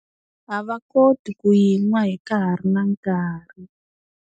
A va koti ku yi nwa hi nkarhi na nkarhi.